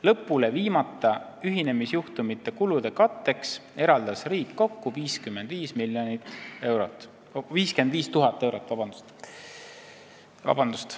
Lõpule viimata ühinemisjuhtumite kulude katteks eraldas riik kokku 55 000 eurot.